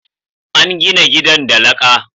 an gina gidan da laƙa